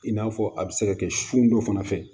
I n'a fɔ a bɛ se ka kɛ sun dɔ fana fɛ